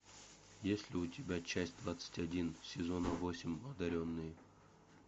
есть ли у тебя часть двадцать один сезона восемь одаренные